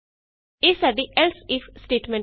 ਇਹ ਸਾਡੀ else if statement ਹੈ